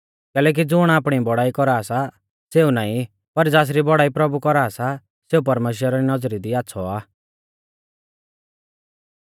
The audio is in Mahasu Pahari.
कैलैकि ज़ुण आपणी बौड़ाई कौरा सा सेऊ नाईं पर ज़ासरी बौड़ाई प्रभु कौरा सा सेऊ परमेश्‍वरा री नौज़री दी आच़्छ़ौ आ